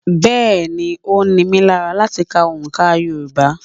Bẹ́́ẹ̀ ni, ó ní mí lára láti ka òǹkà Yorùbá.